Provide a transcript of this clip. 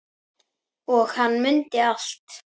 Og hann mundi allt.